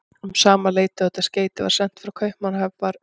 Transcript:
Um sama leyti og þetta skeyti var sent frá Kaupmannahöfn, var